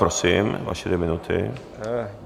Prosím, vaše dvě minuty.